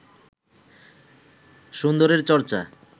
সুন্দরের চর্চা